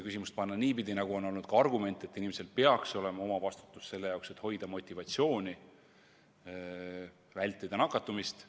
Siin on kõlanud ka argument, et inimesel peaks olema omavastutus, motivatsioon vältida nakatumist.